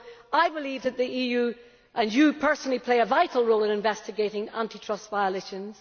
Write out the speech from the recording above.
I believe that the EU, and you personally, play a vital role in investigating anti trust violations.